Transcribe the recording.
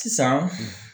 Sisan